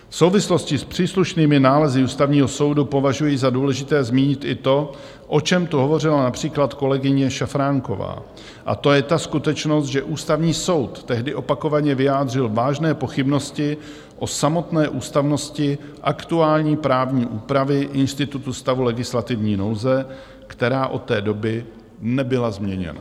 V souvislosti s příslušnými nálezy Ústavního soudu považuji za důležité zmínit i to, o čem tu hovořila například kolegyně Šafránková, a to je ta skutečnost, že Ústavní soud tehdy opakovaně vyjádřil vážné pochybnosti o samotné ústavnosti aktuální právní úpravy institutu stavu legislativní nouze, která od té doby nebyla změněna.